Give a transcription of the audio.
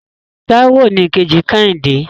Táíwò ni ìkejì kẹ́hìndé.